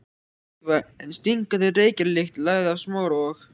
Daufa en stingandi reykjarlykt lagði af Smára og